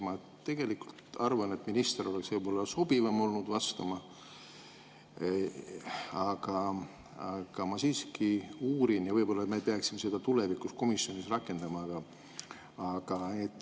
Ma tegelikult arvan, et minister oleks ehk olnud sobivam vastama, aga ma siiski uurin ja võib-olla me peaksime seda tulevikus komisjonis rakendama.